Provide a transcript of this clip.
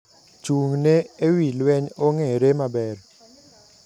Chung`ne ewii lweny ong`ere maber.